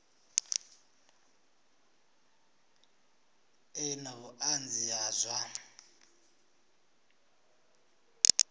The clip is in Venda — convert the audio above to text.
ḓe na vhuṱanzi ha zwa